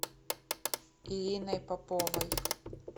ириной поповой